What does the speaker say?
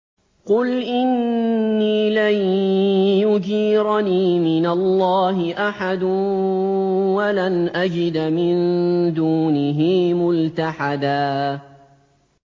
قُلْ إِنِّي لَن يُجِيرَنِي مِنَ اللَّهِ أَحَدٌ وَلَنْ أَجِدَ مِن دُونِهِ مُلْتَحَدًا